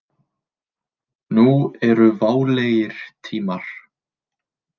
Nú eru válegir tímar.